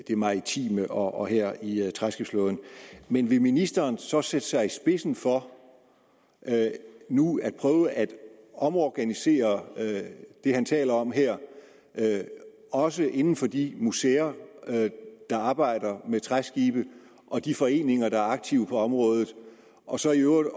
det maritime og her i træskibsflåden men vil ministeren så sætte sig i spidsen for nu at prøve at omorganisere det han taler om her også inden for de museer der arbejder med træskibe og de foreninger der er aktive på området og så i øvrigt